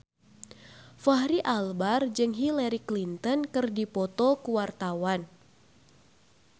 Fachri Albar jeung Hillary Clinton keur dipoto ku wartawan